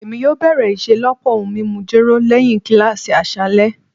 Emi yoo bẹrẹ iṣelọpọ ohun mimu jero lẹhin kilasi aṣalẹ